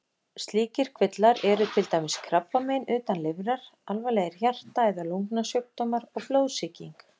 Slíkir kvillar eru til dæmis krabbamein utan lifrar, alvarlegir hjarta- eða lungnasjúkdómar og blóðsýking.